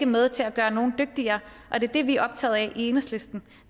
med til at gøre nogen dygtigere og det det vi er optaget af i enhedslisten